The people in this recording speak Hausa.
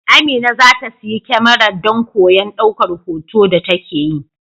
Amina za ta siyi kyamara don koyon daukar hoton da take yi.